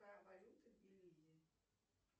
какая валюта в белизе